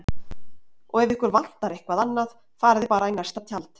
Og ef ykkur vantar eitthvað annað farið þið bara í næsta tjald